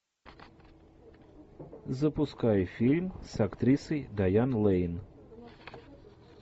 запускай фильм с актрисой дайан лэйн